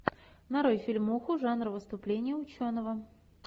нарой фильмуху жанр выступление ученого